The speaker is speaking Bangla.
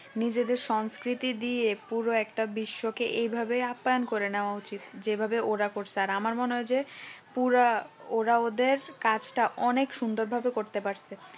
নিজেদের সংস্কৃতি দিয়ে পুরোটাই একটা বিশ্বকে এভাবে আপ্যায়ণ করে নেওয়া উচিত যেভাবে ওরা করছে আর আমার মনে হচ্ছে পুরা ওরা ওদের কাজটা অনেক সুন্দর ভাবে করতে। পারছে।